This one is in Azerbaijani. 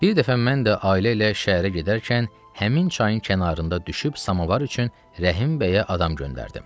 Bir dəfə mən də ailə ilə şəhərə gedərkən həmin çayın kənarında düşüb samovar üçün Rəhimbəyə adam göndərdim.